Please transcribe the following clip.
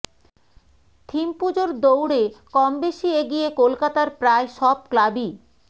theme পুজোর দৌড়ে কম বেশী এগিয়ে কলকাতার প্রায় সব ক্লাবই